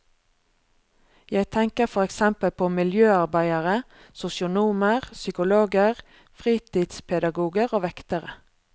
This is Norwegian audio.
Jeg tenker for eksempel på miljøarbeidere, sosionomer, psykologer, fritidspedagoger og vektere.